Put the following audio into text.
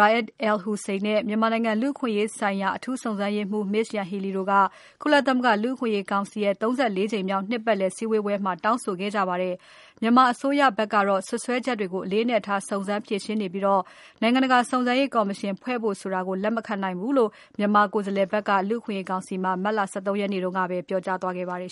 Ra’ad al-Hussein နဲ့ မြန်မာနိုင်ငံလူ့အခွင့်အရေးဆိုင်ရာ အထူးစုံစမ်းရေးမှူး Ms. Yanghee Lee တို့က ကုလသမဂ္ဂ လူ့အခွင့်အရေးကောင်စီရဲ့ ၃၄ ကြိမ်မြောက် နှစ်ပတ်လည်စည်းဝေးပွဲမှာ တောင်းဆိုခဲ့ကြပါတယ်။ မြန်မာအစိုးရဘက်ကတော့ စွပ်စွဲချက်တွေကို အလေးအနက်ထားစုံစမ်းဖြေရှင်းနေပြီး နိုင်ငံတကာစုံစမ်းရေး ကော်မရှင်ဖွဲ့ဖို့ဆိုတာကို လက်မခံနိုင်ဘူးလို့ မြန်မာကိုယ်စားလှယ်ဘက်က လူ့အခွင့်အရေးကောင်စီမှာ မတ်လ ၁၃ ရက်နေ့ကပဲ ပြောသွားခဲ့ပါတယ်